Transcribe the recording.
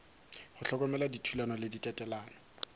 go hlokomela dithulano le tatelelo